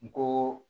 N ko